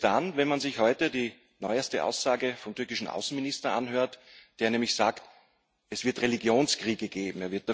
Heftig wird es dann, wenn man sich heute die neueste Aussage vom türkischen Außenminister anhört, der nämlich sagt Es wird Religionskriege geben.